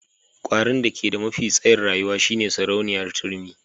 Kwarin da ke da mafi tsayin rayuwa shine sarauniyar turmi.